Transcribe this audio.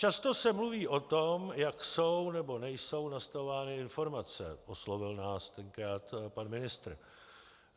Často se mluví o tom, jak jsou nebo nejsou nastavovány informace, oslovil nás tenkrát pan ministr.